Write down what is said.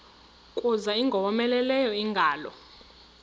kuza ingowomeleleyo ingalo